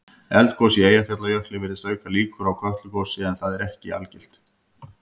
Eldgos í Eyjafjallajökli virðist auka líkur á Kötlugosi en það er ekki algilt.